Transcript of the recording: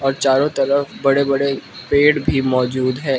और चारों तरफ बड़े बड़े पेड़ भी मौजूद है।